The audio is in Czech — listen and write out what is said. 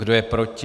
Kdo je proti?